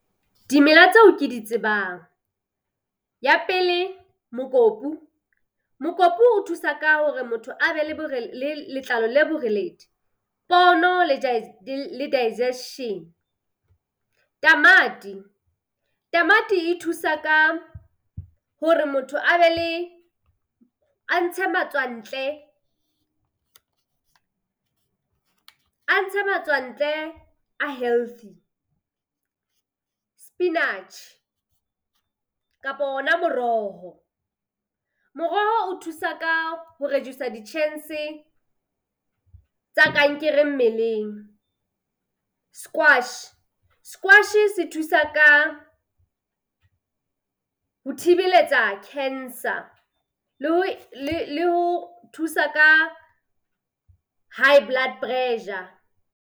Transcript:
Dimela tseo ke di tsebang. Ya pele, mokopu. Mokopu o thusa ka hore motho a be le le letlalo le boreledi, pono le digestion. Tamati, tamati e thusa ka hore motho a be le a ntshe matswa ntle a ntshe matswa ntle a healthy. Spinach kapa hona moroho. Moroho o thusa ka ho reduce-a di-chance tsa kankere mmeleng. Squash, squash-e se thusa ka ho thibeletsa cancer le ho thusa ka high blood pressure.